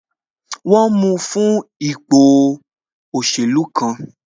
Wọn mu fún ipò òṣèlú kan